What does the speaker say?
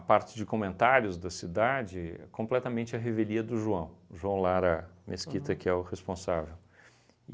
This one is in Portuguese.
A parte de comentários da cidade é completamente a revelia do João, João Lara Mesquita, que é o responsável.